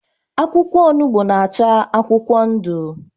Akwụkwọ ọnugbo na-acha akwụkwọ ndu